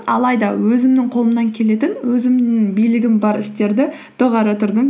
алайда өзімнің қолымнан келетін өзімнің билігім бар істерді доғара тұрдым